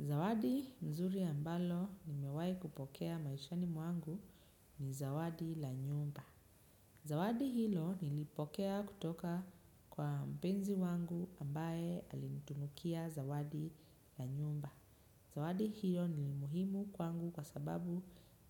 Zawadi mzuri ambalo nimewahi kupokea maishani mwangu ni zawadi la nyumba. Zawadi hilo nilipokea kutoka kwa mpenzi wangu ambaye alinitunukia zawadi la nyumba. Zawadi hilo ni muhimu kwangu kwa sababu